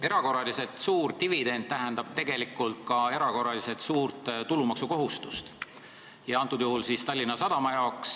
Erakorraliselt suur dividend tähendab tegelikult ka erakorraliselt suurt tulumaksukohustust, antud juhul Tallinna Sadama jaoks.